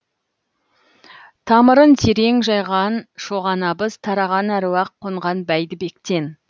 тамырын терең жайған шоған абыз тараған әруақ қонған бәйдібектен